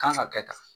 Kan ka kɛ tan